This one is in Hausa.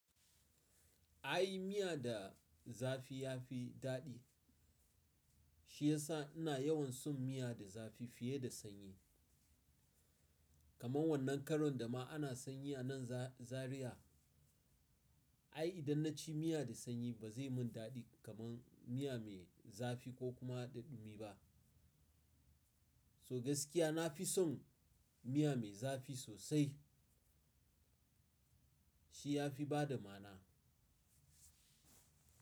Ai miya da zafi ya fi daɗi, shi ya sa ina yawan son miya da zafi fiye da sanyi. Kaman wannan karon da ma ana sanyi a nan Za-Zariya, ai idan na ci miya da sanyi ba zai mun daɗi kaman miya mai zafi ko kuma daɗimi ba. So gaskiya na fi son miya mai zafi sosai, shi ya fi bada ma'ana.